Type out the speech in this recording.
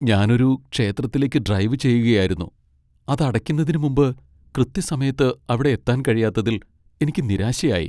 ഞാൻ ഒരു ക്ഷേത്രത്തിലേക്ക് ഡ്രൈവ് ചെയ്യുകയായിരുന്നു, അത് അടയ്ക്കുന്നതിന് മുമ്പ് കൃത്യസമയത്ത് അവിടെ എത്താൻ കഴിയാത്തതിൽ എനിക്ക് നിരാശയായി .